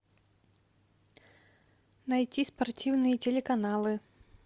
найти спортивные телеканалы